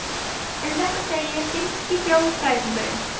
Um þetta segir finnski þjóðfræðingurinn